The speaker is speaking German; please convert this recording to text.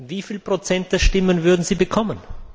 Wie viel Prozent der Stimmen würden Sie bekommen?